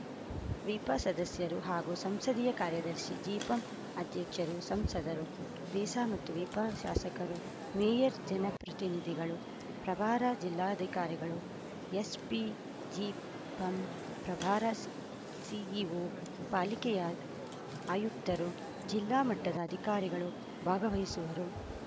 ವಿಪ ಸದಸ್ಯರು ಹಾಗೂ ಸಂಸದೀಯ ಕಾರ್ಯದರ್ಶಿ ಜಿಪಂ ಅಧ್ಯಕ್ಷರು ಸಂಸದರು ವಿಸ ಮತ್ತು ವಿಪ ಶಾಸಕರು ಮೇಯರ್‌ ಜನಪ್ರತಿನಿಧಿಗಳು ಪ್ರಭಾರ ಜಿಲ್ಲಾಧಿಕಾರಿಗಳು ಎಸ್‌ಪಿ ಜಿಪಂ ಪ್ರಭಾರ ಸಿಇಒ ಪಾಲಿಕೆಯ ಆಯುಕ್ತರು ಜಿಲ್ಲಾ ಮಟ್ಟದ ಅಧಿಕಾರಿಗಳು ಭಾಗವಹಿಸುವರು